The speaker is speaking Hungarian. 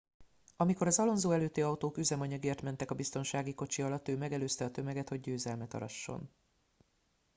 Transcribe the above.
amikor az alonso előtti autók üzemanyagért mentek a biztonsági kocsi alatt ő megelőzte a tömeget hogy győzelmet arasson